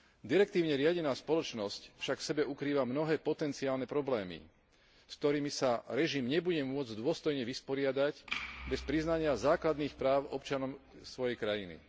Direktívne riadená spoločnosť však v sebe ukrýva mnohé potenciálne problémy, s ktorými sa režim nebude môcť dôstojne vysporiadať bez priznania základných práv občanom svojej krajiny.